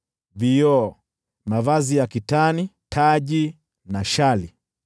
vioo, mavazi ya kitani, taji na shali.